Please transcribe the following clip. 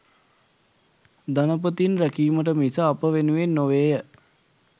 ධනපතීන් රැකීමට මිස අප වෙනුවෙන් නොවේය.